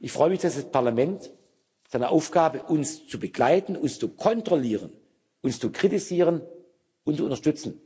Ich freue mich, dass das Parlament seiner Aufgabe, uns zu begleiten und zu kontrollieren, uns zu kritisieren und zu unterstützen,